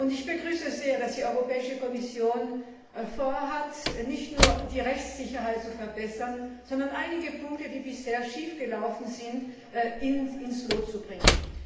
Ich begrüße sehr, dass die Europäische Kommission vorhat, nicht nur die Rechtssicherheit zu verbessern, sondern einige Punkte, die bisher schiefgelaufen sind, ins Lot zu bringen.